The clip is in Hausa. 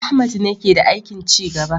Ahmad ne ke da aikin ci gaba